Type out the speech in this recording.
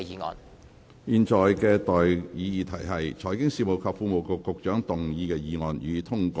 我現在向各位提出的待議議題是：財經事務及庫務局局長動議的議案，予以通過。